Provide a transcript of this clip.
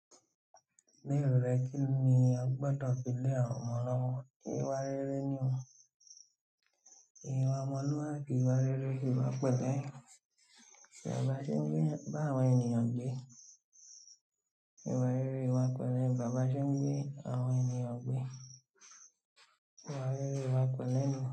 Lérò rẹ kínni a gbọ́dọ̀ fi lé àwọn ọmọ lọ́wọ́? Ìwà rere ni o. Ìwà ọmọlúwàbí, ìwà rere, ìwà pẹ̀lẹ́. Ìwà ba ṣe gbé, bá àwọn ènìyàn gbé. Ìwà rere, ìwà pẹ̀lẹ́. Ìwà ba ṣe n gbé àwọn ènìyàn gbé. Ìwà rere, ìwà pẹ̀lẹ́ ni.